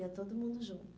Ia todo mundo junto.